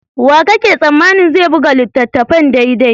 Wanene kake tsammanin zai buga littattafan daidai?